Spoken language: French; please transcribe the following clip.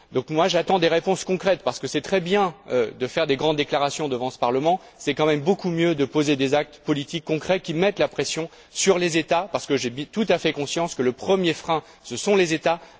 Moi, j'attends des réponses concrètes parce que c'est très bien de faire des grandes déclarations devant ce Parlement, mais c'est quand même beaucoup mieux de poser des actes politiques concrets qui mettent la pression sur des États parce que j'ai tout à fait conscience que le premier frein, ce sont les États.